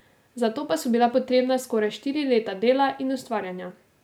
Za to pa so bila potrebna skoraj štiri leta dela in ustvarjanja.